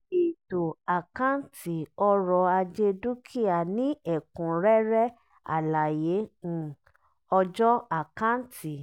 ètò àkáǹti ọrọ̀-ajé dúkìá ní ẹ̀kúnrẹ́rẹ́ àlàyé um ọjọ́ àkáǹtì.